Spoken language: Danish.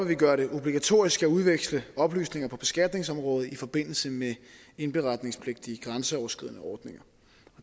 vi gøre det obligatorisk at udveksle oplysninger på beskatningsområdet i forbindelse med indberetningspligtige grænseoverskridende ordninger